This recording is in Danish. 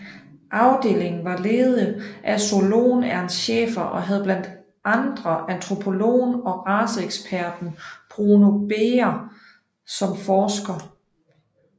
Afdelingen var ledet af zoologen Ernst Schäfer og havde blandt andre antropologen og raceeksperten Bruno Beger som forsker